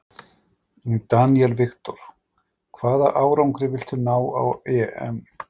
Daniel Victor: Hvaða árangri viltu ná á EM?